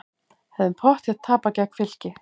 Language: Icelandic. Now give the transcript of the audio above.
Hefðum pottþétt tapað gegn Fylki